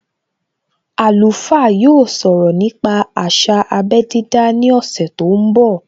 Alùfá yóò sọ̀rọ̀ nípa àsà abé dídá ní ọ̀sẹ̀ tó ń bọ̀